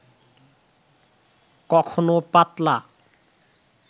কখনো পাতলা